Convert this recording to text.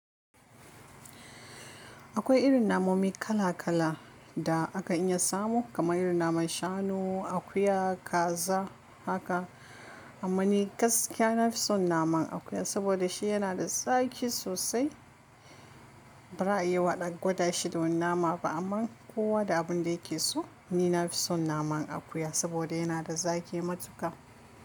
Akwai irin namomi kala kala da aka iya samu kamar irin naman shanu, akuya, kaza haka. Amma ni gaskiya na fi son naman akuya saboda shi yana da zaƙi sosai. Bari a yi waɗanda gwada shi da wani nama ba, amma kowa da abin da yake so. Ni na fi son naman akuya saboda yana da zaƙi matuƙa.